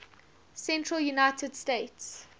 central united states